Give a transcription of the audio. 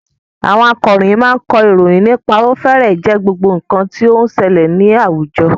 Àwọn akọ̀ròyìn máa kọ ìròyìn nípa ó fẹ́rẹ̀ẹ́ jẹ́ gbogbo nǹkan tí ó n ṣẹlẹ̀ ní àwùjọ.